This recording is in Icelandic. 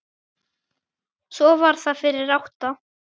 Svo var það fyrir átta.